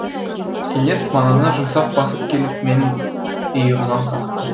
кенет манана жұмсақ басып келіп менің иығымнан қақты